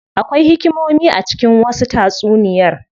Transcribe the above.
Akwai hikimomi a cikin wasu tatsuniyar.